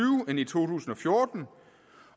end i to tusind og fjorten